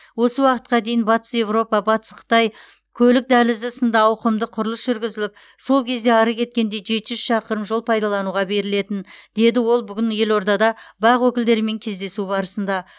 осы уақытқа дейін батыс еуропа батыс қытай көлік дәлізі сынды ауқымды құрылыс жүргізіліп сол кезде ары кеткенде жеті жүз шақырым жол пайдалануға берілетін деді ол бүгін елордада бақ өкілдерімен кездесу барысында